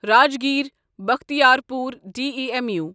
Rajgir Bakhtiyarpur D E M U